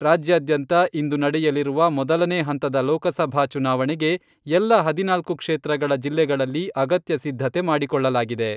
ರಾಜ್ಯಾದ್ಯಂತ ಇಂದು ನಡೆಯಲಿರುವ ಮೊದಲನೇ ಹಂತದ ಲೋಕಸಭಾ ಚುನಾವಣೆಗೆ ಎಲ್ಲ ಹದಿನಾಲ್ಕು ಕ್ಷೇತ್ರಗಳ ಜಿಲ್ಲೆಗಳಲ್ಲಿ ಅಗತ್ಯ ಸಿದ್ಧತೆ ಮಾಡಿಕೊಳ್ಳಲಾಗಿದೆ.